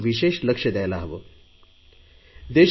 देशभरातून स्वच्छता राखण्याबद्दल आपण विशेष लक्ष द्यायला हवे